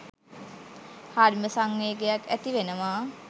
හරිම සංවේගයක් ඇති වෙනවා